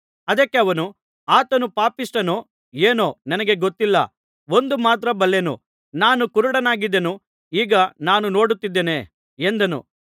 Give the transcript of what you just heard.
ಅದಕ್ಕೆ ಅವನು ಆತನು ಪಾಪಿಷ್ಠನೋ ಏನೋ ನನಗೆ ಗೊತ್ತಿಲ್ಲ ಒಂದು ಮಾತ್ರ ಬಲ್ಲೆನು ನಾನು ಕುರುಡನಾಗಿದ್ದೆನು ಈಗ ನಾನು ನೋಡುತ್ತಿದ್ದೇನೆ ಎಂದನು